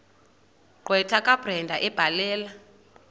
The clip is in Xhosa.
gqwetha kabrenda ebhalela